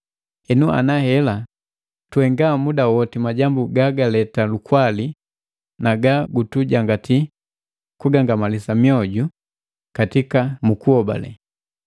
Henu ana hela tuhenga muda woti majambu gagaleta lukwali na ga gutujangati kugangamalisana mioju katika kuhobale.